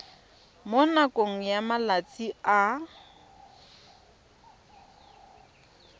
mo nakong ya malatsi a